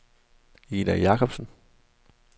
Ida Jakobsen